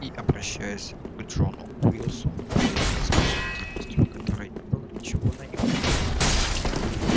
и обращаясь к джону уилксу произнёс с почтительностью в которой не было ничего наигранного